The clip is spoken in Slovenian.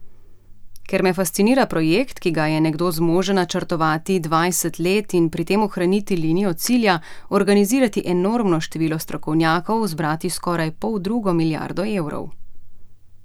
Ker me fascinira projekt, ki ga je nekdo zmožen načrtovati dvajset let in pri tem ohraniti linijo cilja, organizirati enormno število strokovnjakov, zbrati skoraj poldrugo milijardo evrov.